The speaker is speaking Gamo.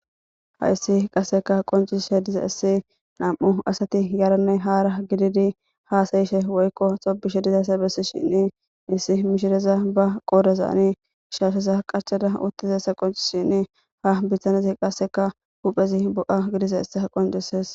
Hayssi qasseka qoncishe diza issi nam7u asati yaranne haara gididi haasayishe woykko xobishe dizaysa bessi shinni issi mishireza ba qoodazaani shaasheza qachada uttizassa qonci shinni ha biththanezi qasseka huphezi bo7a gidiza issa qoncises.